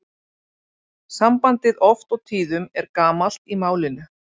Sambandið oft og tíðum er gamalt í málinu.